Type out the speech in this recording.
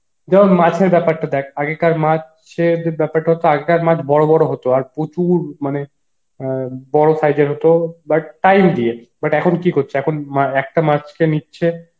যেমন মাছের ব্যাপারটা দেখ আগেকার মাছ সে যে ব্যাপারটা হতো আগেকার মাছ বড় বড় হতো আর প্রচুর মানে অ্যাঁ বড় size এর হত but time দিয়ে but এখন কি করছে একটা মাছ কে নিচ্ছে